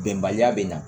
Bɛnbaliya bɛ na